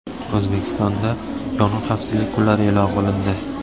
O‘zbekistonda yong‘in xavfsizligi kunlari e’lon qilindi.